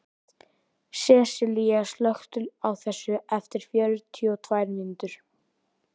Sessilía, slökktu á þessu eftir fjörutíu og tvær mínútur.